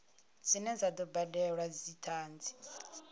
dzine dza do badelwa dzithanzi